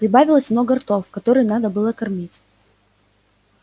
прибавилось много ртов которые надо было кормить